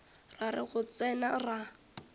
ra re go tsena ra